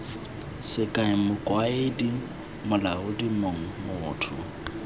sekao mokaedi molaodi mong motho